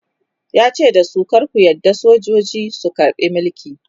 yace dasu "kar ku yarda sojoji su karbe Mulki!"